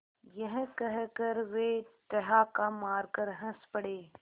यह कहकर वे ठहाका मारकर हँस पड़े